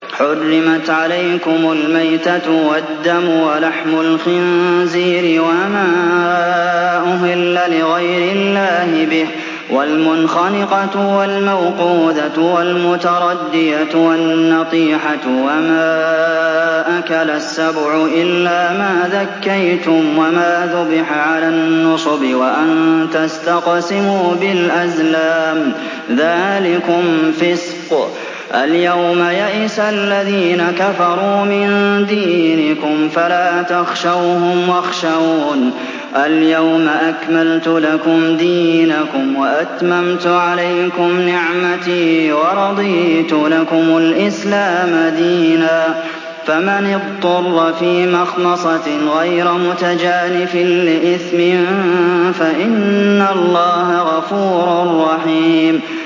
حُرِّمَتْ عَلَيْكُمُ الْمَيْتَةُ وَالدَّمُ وَلَحْمُ الْخِنزِيرِ وَمَا أُهِلَّ لِغَيْرِ اللَّهِ بِهِ وَالْمُنْخَنِقَةُ وَالْمَوْقُوذَةُ وَالْمُتَرَدِّيَةُ وَالنَّطِيحَةُ وَمَا أَكَلَ السَّبُعُ إِلَّا مَا ذَكَّيْتُمْ وَمَا ذُبِحَ عَلَى النُّصُبِ وَأَن تَسْتَقْسِمُوا بِالْأَزْلَامِ ۚ ذَٰلِكُمْ فِسْقٌ ۗ الْيَوْمَ يَئِسَ الَّذِينَ كَفَرُوا مِن دِينِكُمْ فَلَا تَخْشَوْهُمْ وَاخْشَوْنِ ۚ الْيَوْمَ أَكْمَلْتُ لَكُمْ دِينَكُمْ وَأَتْمَمْتُ عَلَيْكُمْ نِعْمَتِي وَرَضِيتُ لَكُمُ الْإِسْلَامَ دِينًا ۚ فَمَنِ اضْطُرَّ فِي مَخْمَصَةٍ غَيْرَ مُتَجَانِفٍ لِّإِثْمٍ ۙ فَإِنَّ اللَّهَ غَفُورٌ رَّحِيمٌ